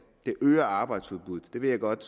det øger arbejdsudbuddet jeg ved godt